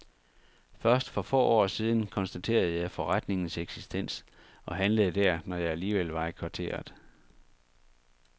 Først for få år siden konstaterede jeg forretningens eksistens og handlede der, når jeg alligevel var i kvarteret.